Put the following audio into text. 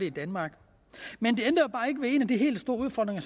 i danmark men det ændrer jo bare ikke ved en af de helt store udfordringer